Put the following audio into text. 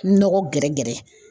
Nɔgɔ gɛrɛgɛrɛ.